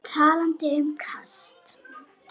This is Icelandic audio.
Talandi um kast.